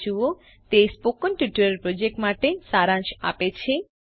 httpspokentutorialorgWhat is a Spoken Tutorial તે spoken tutorial project માટે સારાંશ આપે છે